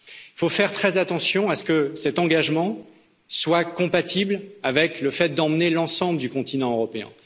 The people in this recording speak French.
Il faut faire très attention à ce que cet engagement soit compatible avec le fait d'emmener l'ensemble du continent européen.